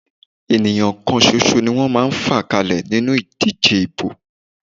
Ènìyàn kan ṣoṣo ni wọ́n máa ń fà kalẹ̀ nínú ìdíje ìbò.